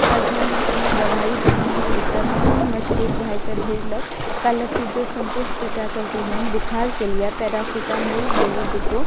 आर घर में कूनू दवाई भी ने रहे ते मम्मी हमरा छोट भाई के भेजलक कहलक की जो संतोष चाचा के कहिएन बुखार के लिए पैरासिटामोल गोली देतो।